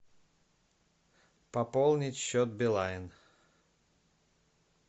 пополнить счет билайн